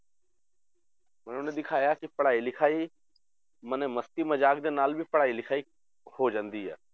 ਮਨੇ ਉਹਨੇ ਦਿਖਾਇਆ ਕਿ ਪੜ੍ਹਾਈ ਲਿਖਾਈ ਮਨੇ ਮਸਤੀ ਮਜ਼ਾਕ ਦੇ ਨਾਲ ਵੀ ਪੜ੍ਹਾਈ ਲਿਖਾਈ ਹੋ ਜਾਂਦੀ ਹੈ